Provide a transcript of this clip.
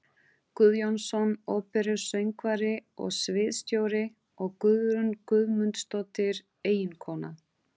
Guðjónsson, óperusöngvari og sviðsstjóri, og Guðrún Guðmundsdóttir, eiginkona